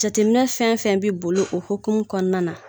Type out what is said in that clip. Jatetɛminɛ fɛn fɛn bɛ boli o hokumu kɔnɔna na.